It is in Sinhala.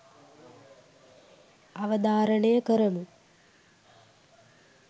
අවධාරණය කරමු.